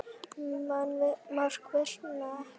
Mörk vinna leiki.